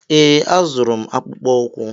Ee, azụrụ m akpụkpọ ụkwụ!